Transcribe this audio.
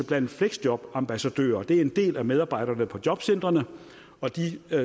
blandt fleksjobambassadører det er en del af medarbejderne på jobcentrene og de